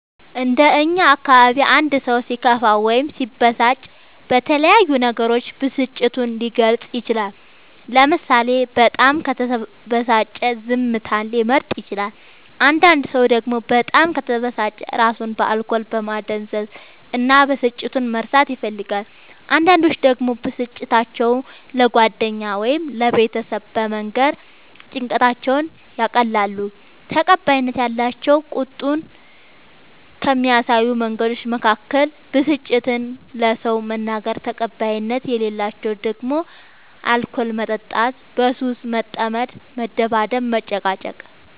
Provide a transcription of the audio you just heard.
እንደ እኛ አካባቢ አንድ ሰው ሲከፋው ወይም ሲበሳጭ በተለያዩ ነገሮች ብስጭቱን ሊገልፅ ይችላል ለምሳሌ በጣም ከተበሳጨ ዝምታን ሊመርጥ ይችላል አንዳንድ ሰው ደግሞ በጣም ከተበሳጨ እራሱን በአልኮል ማደንዘዝ እና ብስጭቱን መርሳት ይፈልጋል አንዳንዶች ደግሞ ብስጭታቸው ለጓደኛ ወይም ለቤተሰብ በመንገር ጭንቀታቸውን ያቀላሉ። ተቀባይነት ያላቸው ቁጣን ከሚያሳዩ መንገዶች መካከል ብስጭትን ለሰው መናገር ተቀባይነት የሌላቸው ደግሞ አልኮል መጠጣት በሱስ መጠመድ መደባደብ መጨቃጨቅ